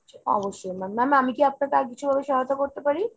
অবশ্যই ma'am। ma'am আমি কি আপনাকে আর কিছুভাবে সহায়তা করতে পারি ?